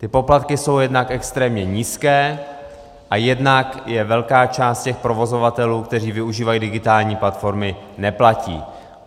Ty poplatky jsou jednak extrémně nízké a jednak je velká část těch provozovatelů, kteří využívají digitální platformy, neplatí.